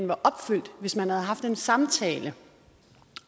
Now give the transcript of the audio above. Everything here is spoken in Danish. var opfyldt hvis man havde haft en samtale